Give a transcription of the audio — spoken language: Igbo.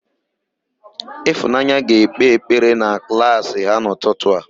Ịfụnanya ga-ekpe ekpere na klaasị ha n'ụtụtụ a.